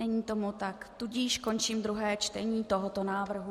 Není tomu tak, tudíž končím druhé čtení tohoto návrhu.